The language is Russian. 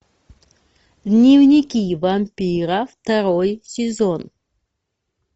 дневники вампира второй сезон